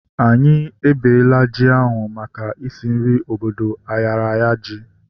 Anyị ebela ji ahu maka isi nri obodo ayaraya ji